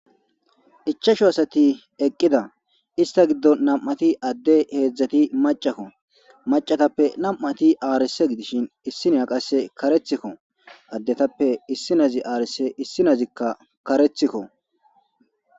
ichashu asati eqqida ista giddo nam7ati adde heedzdzati macakko macatappe nam7ati aarese gidishin issiniya qase karethikko addetappe issi nazi aarese issi nazikka karethikko